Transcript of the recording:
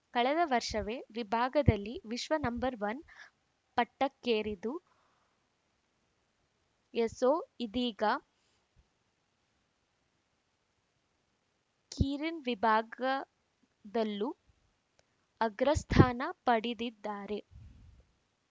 ಕಳೆದ ವರ್ಷವೇ ವಿಭಾಗದಲ್ಲಿ ವಿಶ್ವ ನಂ ವನ್ ಪಟ್ಟಕ್ಕೇರಿದು ಎಸೋ ಇದೀಗ ಕೀರಿನ್‌ ವಿಭಾಗದಲ್ಲೂ ಅಗ್ರಸ್ಥಾನ ಪಡೆದಿದ್ದಾರೆ